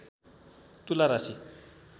तुला राशि